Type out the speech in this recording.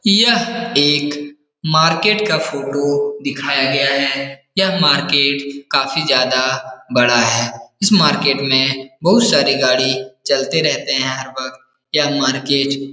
यह एक मार्केट का फ़ोटो दिखाया गया है यह मार्केट काफी ज्यादा बड़ा है इस मार्केट में बहुत सारी गाड़ी चलते रहते हैं हर वक़्त यह मार्केट --